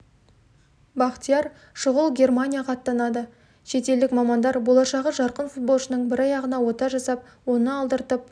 бахтияр шұғыл германияға аттанады шетелдік мамандар болашағы жарқын футболшының бір аяғына ота жасап оны алдыртып